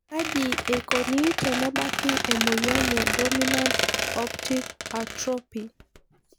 Kaji eikoni tenebaki emoyian e dominant optic atrophy?